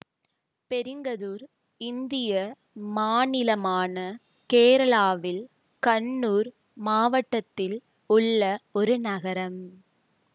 பெரிங்கதூர் இந்திய மாநிலமான கேரளாவில் கண்ணூர் மாவட்டத்தில் உள்ள ஒரு நகரம்